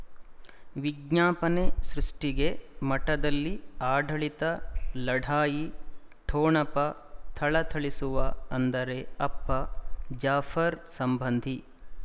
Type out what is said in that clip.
ವಿಜ್ಞಾಪನೆ ಸೃಷ್ಟಿಗೆ ಮಠದಲ್ಲಿ ಆಡಳಿತ ಲಢಾಯಿ ಠೊಣಪ ಥಳಥಳಿಸುವ ಅಂದರೆ ಅಪ್ಪ ಜಾಫರ್ ಸಂಬಂಧಿ